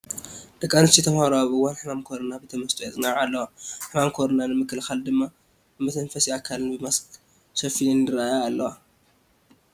ደቂ ኣንስትዮ ተመሃሮ ኣብ እዋን ሕማም ኮሮና ብተመስጦ የፅንዓ ኣለዋ፡፡ ሕማም ኮሮና ንምክልኻል ድማ ንመተንፈሲ ኣካለን ብማስክ ሸፊነን ይርአያ ኣለዋ፡፡